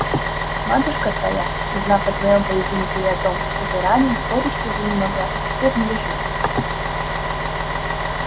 матушка твоя узнав о твоём поединке и о том что ты ранен с горести занемогла и теперь лежит